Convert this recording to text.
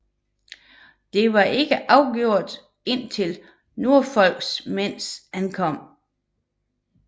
Det var ikke afgjort indtil Norfolks mænds ankomst